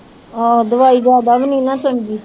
ਆਹੋ ਦਵਾਈ ਜਿਆਦਾ ਵੀ ਨਹੀਂ ਨਾ ਚੰਗੀ